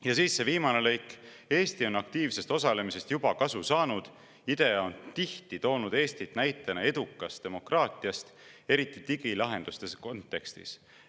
Ja siis see viimane lõik: "Eesti on aktiivsest osalemisest juba kasu saanud – IDEA on tihti toonud Eestit näitena edukast demokraatiast, eriti digilahenduste kontekstis.